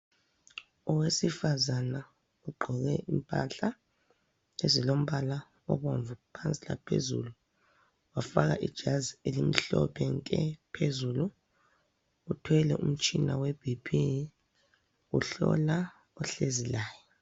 Owesifazana ugqoke impahla ezilombala obomvu phansi laphezulu wafaka ijazi elimhlophe nke phezulu uthwele umtshina weBP uhlola ohlezi laye.